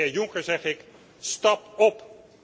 En de heer Juncker zeg ik stap op!